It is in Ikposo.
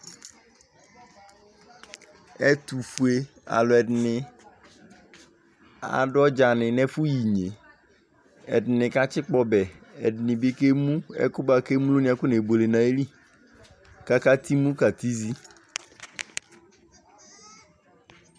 Ɛtʋfue' Alʋɛɖini aɖʋ ɔdzani nʋ n'ɛfuyiyne' ɛɖini katsikpɔ ɔbɛ, ɛɖinibi k'ɛmu ɛkʋɛ buakʋ emloni k'akɔne' buele' nʋ ayili, k'akatimu, k'akatizii